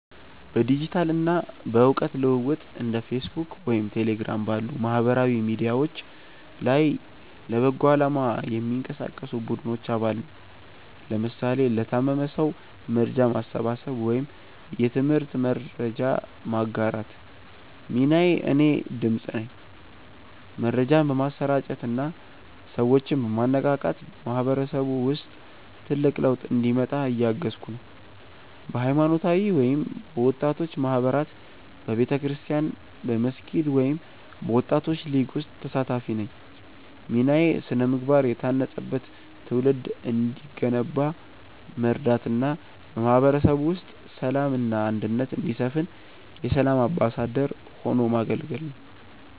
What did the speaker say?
በዲጂታል እና በእውቀት ልውውጥ እንደ ፌስቡክ ወይም ቴሌግራም ባሉ ማህበራዊ ሚዲያዎች ላይ ለበጎ አላማ የሚንቀሳቀሱ ቡድኖች አባል ነኝ (ለምሳሌ ለታመመ ሰው መርጃ ማሰባሰብ ወይም የትምህርት መረጃ ማጋራት) ሚናዬ እኔ "ድምፅ" ነኝ። መረጃን በማሰራጨት እና ሰዎችን በማነቃቃት በማህበረሰቡ ውስጥ ትልቅ ለውጥ እንዲመጣ እያገዝኩ ነው። በሃይማኖታዊ ወይም በወጣቶች ማህበራት በቤተክርስቲያን፣ በመስጊድ ወይም በወጣቶች ሊግ ውስጥ ተሳታፊ ነኝ ሚናዬ ስነ-ምግባር የታነጸበት ትውልድ እንዲገነባ መርዳት እና በማህበረሰቡ ውስጥ ሰላም እና አንድነት እንዲሰፍን የ"ሰላም አምባሳደር" ሆኖ ማገልገል ነው